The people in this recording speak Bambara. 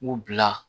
U bila